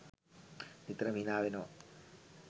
නිතරම හිනාවෙනවා.